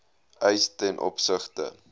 eis ten opsigte